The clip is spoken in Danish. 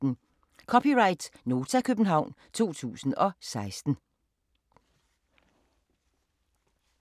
(c) Nota, København 2016